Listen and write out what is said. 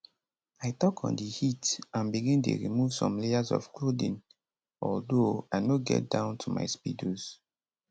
i tok on di heat and begin dey remove some layers of clothing although i no get down to my speedos